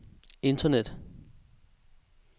internet